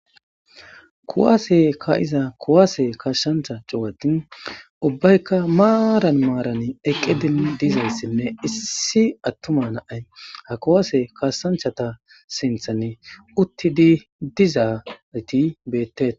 Kuwaase ka'iza kuwaase kashshantha cuwati ubbaykka maaran maaran eqqedin dizayssinme issi attumana ay ha kuwaase kaassanchata sinthan utti di dizaarti beetteet.